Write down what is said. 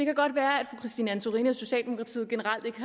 kan godt være at fru christine antorini og socialdemokratiet generelt ikke